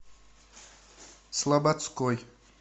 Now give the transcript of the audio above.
слободской